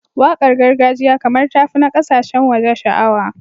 Waƙar gargajiya kamar ta fi na ƙasashen waje sha'awa.